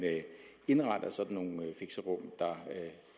indretter sådan nogle fixerum der